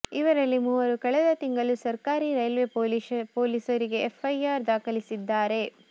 ಇವರಲ್ಲಿ ಮೂವರು ಕಳೆದ ತಿಂಗಳು ಸರ್ಕಾರಿ ರೈಲ್ವೆ ಪೊಲೀಸರಿಗೆ ಎಫ್ಐಆರ್ ದಾಖಲಿಸಿದ್ದಾರೆ